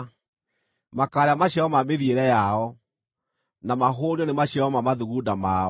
makaarĩa maciaro ma mĩthiĩre yao, na mahũũnio nĩ maciaro ma mathugunda mao.